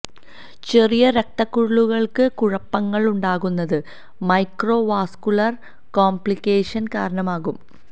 ചെറിയ രക്ത കുഴലുകള്ക്ക് കുഴപ്പങ്ങളുണ്ടാകുന്നത് മൈക്രോ വാസ്കുലര് കോംപ്ലിക്കേഷന് കാരണമാകും